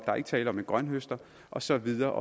er ikke tale om en grønthøster og så videre